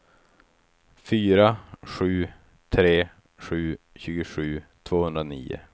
fyra sju tre sju tjugosju tvåhundranio